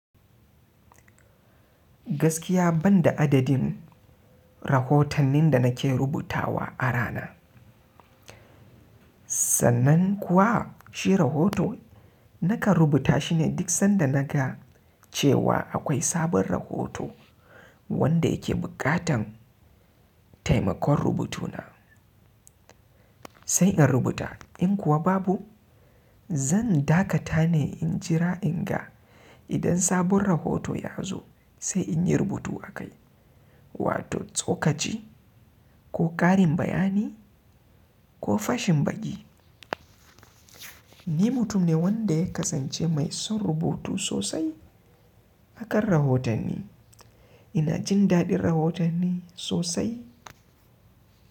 Gaskiya banda adadin rahotannin da nake rubutawa a rana, sannan kuwa shi rahoto, nakan rubuta shine duk sanda naga cewa akwai sabon rahoto, wanda yake buƙatan taimakon rubutu na. Sai in rubuta, in kuwa babu zan dakata ne in jira in ga, idan sabon rahoto ya zo, sai in yi rubutu akai, wato tsokaci ko ƙarin bayani ko fashin baƙi. Ni mutum ne wanda ya kasance mai son rubutu sosai akan rahotanni. Ina jin daɗin rahotanni sosai.